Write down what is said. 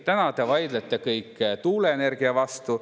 Täna te vaidlete kõik tuuleenergia vastu.